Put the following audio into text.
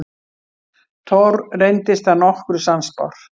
Thor reyndist að nokkru sannspár.